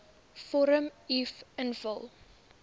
vorm uf invul